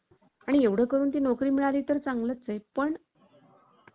आणि एवढं करून ती नोकरी मिळाली तर चांगलंच आहे. पण